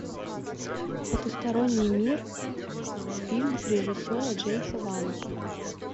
потусторонний мир фильм режиссера джеймса вана